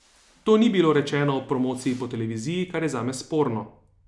To ni bilo rečeno ob promociji po televiziji, kar je zame sporno.